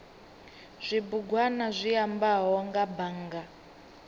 zwibugwana zwi ambaho nga bannga